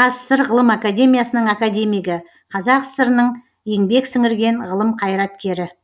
қазсср ғылым академиясының академигі қазақ сср інің еңбек сіңірген ғылым қайраткері